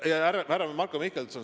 Marko Mihkelson!